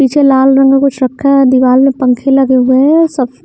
पीछे लाल रंग का कुछ रखा है दीवार में पंखे लगे हुए हैं सब--